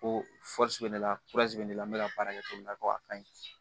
Ko bɛ ne la bɛ ne la n be ka baara kɛ cogo min na ko a ka ɲi